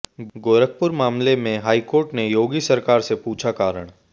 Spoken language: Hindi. गोरखपुर मामले में हाई कोर्ट ने योगी सरकार से पूछा कारण